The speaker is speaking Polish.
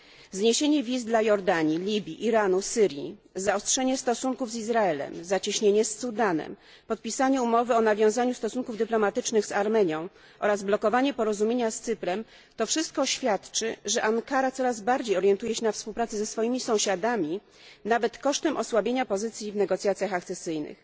Zniesienie wiz dla Jordanii, Libii, Iranu, Syrii, zaostrzenie stosunków z Izraelem, zacieśnienie z Sudanem, podpisanie umowy o nawiązaniu stosunków dyplomatycznych z Armenią oraz blokowanie porozumienia z Cyprem to wszystko świadczy, że Ankara coraz bardziej orientuje się na współpracę ze swoimi sąsiadami, nawet kosztem osłabienia pozycji w negocjacjach akcesyjnych.